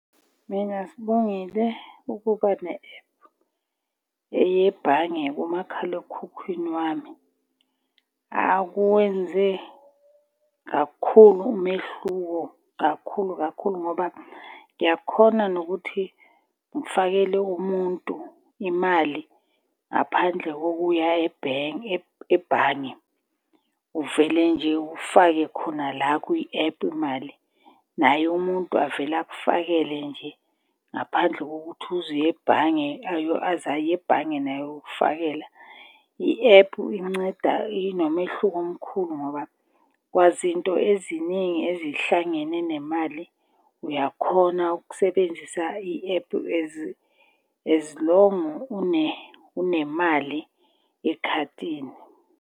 Mina Sibongile, ukuba ne-ephu eyebhange kumakhalekhukhwini wami. Akuwenze kakhulu umehluko kakhulu kakhulu ngoba ngiyakhona nokuthi ngifakele umuntu imali ngaphandle kokuya ebhange. Uvele nje ufake khona la kwi-epu imali, naye umuntu avele akufakele nje. Ngaphandle kokuthi uzuye ebhange, azayebhange naye ayokufakela. I-ephu inceda inomehluko omkhulu ngoba kwazinto eziningi ezihlangene nemali uyakhona ukusebenzisa i-ephu. As long unemali ekhadini.